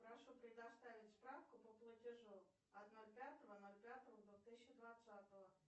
прошу предоставить справку по платежу от ноль пятого ноль пятого две тысячи двадцатого